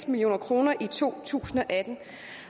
million kroner i to tusind